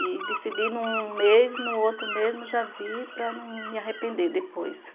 E decidi num mês, no outro mesmo, já vi para não me arrepender depois.